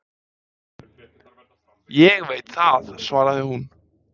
Ég veit það, svaraði hún